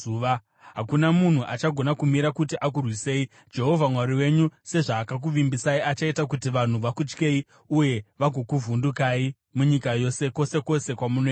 Hakuna munhu achagona kumira kuti akurwisei. Jehovha Mwari wenyu sezvaakakuvimbisai, achaita kuti vanhu vakutyei uye vagokuvhundukai munyika yose, kwose kwose kwamunoenda.